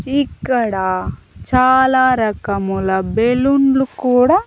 ఇక్కడ చాలా రకముల బెలూన్లు కూడా--